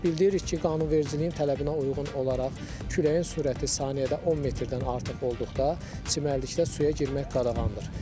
Bildiririk ki, qanunvericiliyin tələbinə uyğun olaraq küləyin sürəti saniyədə 10 metrdən artıq olduqda çimərlikdə suya girmək qadağandır.